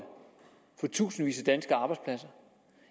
for tusindvis af danske arbejdspladser